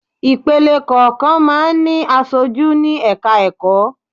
Ìpele kọ̀ọ̀kan máa ń ní aṣojú ní ẹ̀ka ẹ̀kọ́.